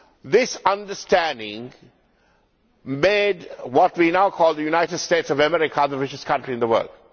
This understanding made what we now call the United States of America the richest country in the world.